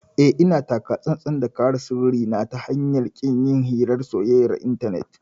Eh, ina taka tsantsan da kare sirrin na ta hanyar ƙin yin hirar soyayyar intanet.